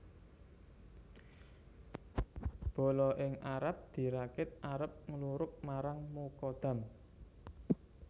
Bala ing Arab dirakit arep nglurug marang Mukadam